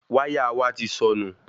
Wáyà wa ti sọnù